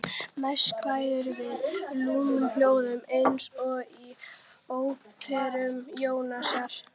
Næst kveður við lúðurhljómur eins og í Opinberun Jóhannesar